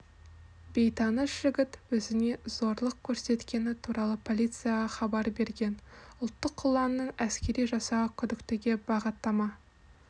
бейтаныс жігіт өзіне зорлық көрсеткені туралы полицияға хабар берген ұлттық ұланның әскери жасағы күдіктіге бағыттама